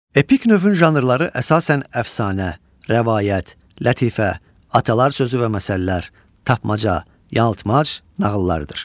Epik növün janrları əsasən əfsanə, rəvayət, lətifə, atalar sözü və məsəllər, tapmaca, yaltmac, nağıllardır.